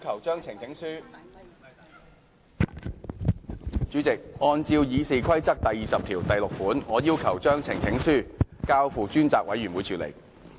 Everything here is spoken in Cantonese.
主席，按照《議事規則》第206條，我要求將呈請書交付專責委員會處理。